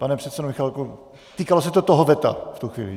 Pane předsedo Michálku, týkalo se to toho veta v tu chvíli?